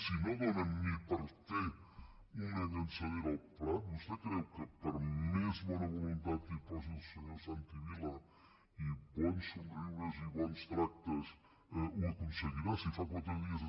si no donen ni per fer una llançadora al prat vostè creu que per més bona voluntat que hi posi el senyor santi vila i bons somriures i bons tractes ho aconseguirà si fa quatre dies